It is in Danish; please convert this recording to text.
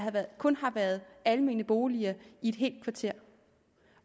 kun har været almene boliger i et helt kvarter